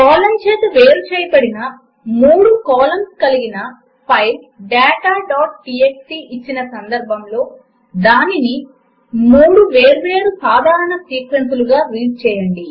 చేత వేరు చేయబడిన మూడు కాలమ్స్ కలిగిన ఫైల్ dataటీఎక్స్టీ ఇచ్చిన సందర్భములో దానిని 3 వేర్వేరు సాధారణ సీక్వెన్సులుగా రీడ్ చేయండి